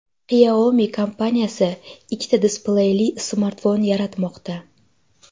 Xiaomi kompaniyasi ikkita displeyli smartfon yaratmoqda.